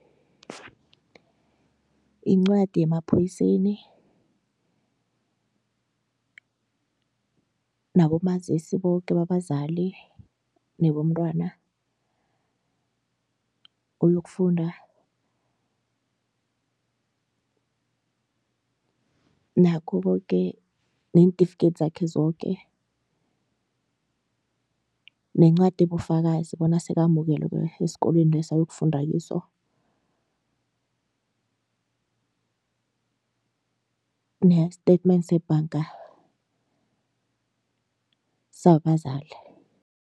Incwadi yemaphoyiseni, nabomazisi boke babazali nebontwana oyokufunda, nakho koke neentifikedi zakhe zoke, nencwadi ebufakazi bona sekamukelwe esikolweni leso ayokufunda kiso ne-statement sebhanga sabazali.